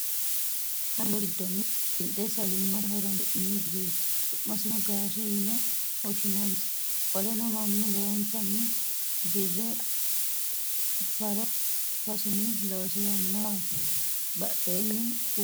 Haanja muro giddonni winxe sagalimmate ho'roonsi'nanni gideeti. Su'masino gaashe yine woshshinannise. Qoleno mannu lowottanni dire faro farosinni loosirinnowaati. Badheenni quphi quphi yiinohu bullu mineho.